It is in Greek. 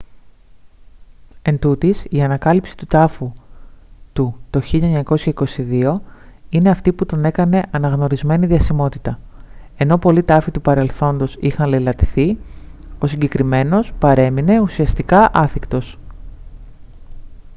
εντούτοις η ανακάλυψη του τάφου του το 1922 τον είναι αυτή που τον έκανε αναγνωρισμένη διασημότητα ενώ πολλοί τάφοι του παρελθόντος είχαν λεηλατηθεί ο συγκεκριμένος παρέμεινε ουσιαστικά άθικτος